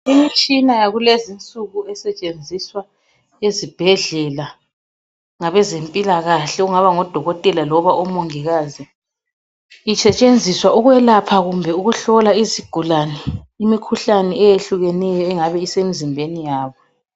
Imitshina yakulezinsuku esetshenziswa ezibhedlela , ngabezempilakahle okungaba ngodokothela loba omongikazi. Isetshenziswa ukwelapha kumbe ukuhlola izigulane imikhuhlane eyehlukeneyo engabe isemizimbeni yabo.